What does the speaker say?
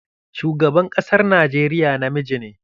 Shugaban ƙasar Najeriya namiji ne.